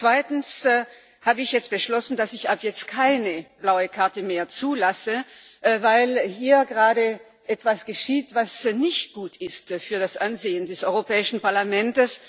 Zweitens habe ich jetzt beschlossen, dass ich ab jetzt keine blaue Karte mehr zulasse, weil hier gerade etwas geschieht, was nicht gut ist für das Ansehen des Europäischen Parlaments.